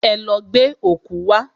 Ẹ lọ gbẹ́ ọ̀kú wá!